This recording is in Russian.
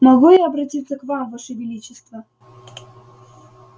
могу я обратиться к вам ваше величество